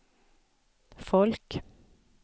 folk